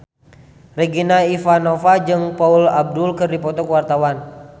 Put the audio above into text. Regina Ivanova jeung Paula Abdul keur dipoto ku wartawan